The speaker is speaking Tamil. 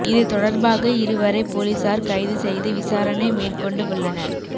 இது தொடர்பாக இருவரை போலீசார் கைது செய்து விசாரணை மேற்கொண்டு உள்ளனர்